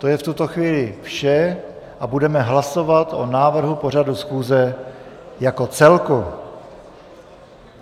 To je v tuto chvíli vše a budeme hlasovat o návrhu pořadu schůze jako celku.